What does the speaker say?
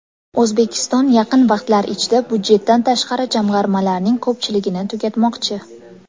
O‘zbekiston yaqin vaqtlar ichida budjetdan tashqari jamg‘armalarning ko‘pchiligini tugatmoqchi.